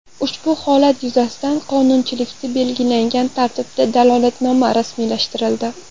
Ushbu holat yuzasidan qonunchilikda belgilangan tartibda dalolatnoma rasmiylashtirildi.